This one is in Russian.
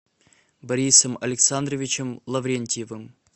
борисом александровичем лаврентьевым